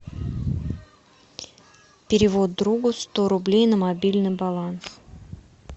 перевод другу сто рублей на мобильный баланс